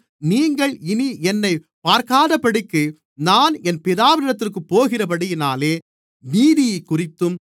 நீங்கள் இனி என்னைப் பார்க்காதபடிக்கு நான் என் பிதாவினிடத்திற்குப் போகிறபடியினாலே நீதியைக்குறித்தும்